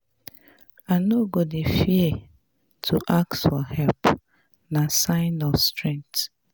I no go dey fear to ask for help, na sign of strength.